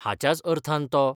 हाच्याच अर्थान तो